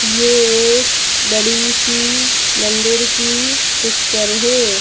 ये एक बड़ीसी मंदिर की पिक्चर हैं।